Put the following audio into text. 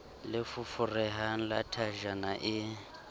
le foforehang la thajana e